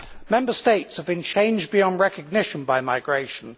Member States have been changed beyond recognition by migration.